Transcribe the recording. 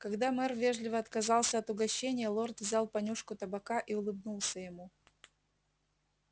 когда мэр вежливо отказался от угощения лорд взял понюшку табака и улыбнулся ему